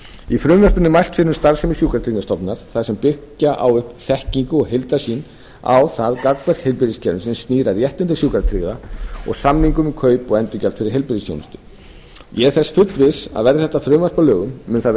í frumvarpinu er mælt fyrir um starfsemi sjúkratryggingastofnunar þar sem byggja á upp þekkingu og heildarsýn á það gangverk heilbrigðiskerfisins sem snýr að réttindum sjúkratryggðra og samningum um kaup og endurgjald fyrir heilbrigðisþjónustu ég er þess fullviss að verði þetta frumvarp að lögum mun það vera